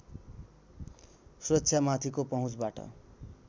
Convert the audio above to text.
सुरक्षामाथिको पहुँचबाट